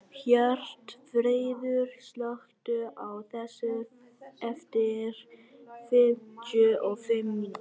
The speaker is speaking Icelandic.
Hjörtfríður, slökktu á þessu eftir fimmtíu og fimm mínútur.